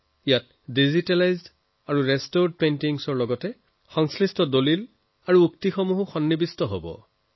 ইয়াত ডিজিটেলাইজড আৰু ৰেষ্টোৰড পেইণ্টিঙৰ লগ লগে ইয়াৰ লগত সম্পৰ্কযুক্ত নথিপত্ৰ আৰু উদ্ধৃতি যুক্ত আছে